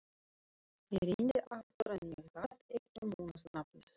Ég reyndi aftur en ég gat ekki munað nafnið.